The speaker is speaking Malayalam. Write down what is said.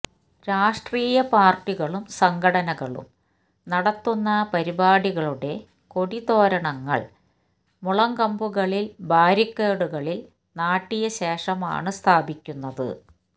രാഷ്ട്രീയ പാര്ട്ടികളും സംഘടനകളും നടത്തുന്ന പരിപാടികളുടെ കൊടി തോരണങ്ങള് മുളങ്കമ്പുകളില് ബാരിക്കേഡുകളില് നാട്ടിയശേഷമാണു സ്ഥാപിക്കുന്നത്